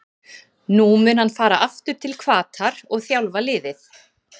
Nú mun hann fara aftur til Hvatar og þjálfa liðið.